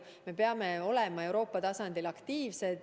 Me peame olema Euroopa tasandil aktiivsed.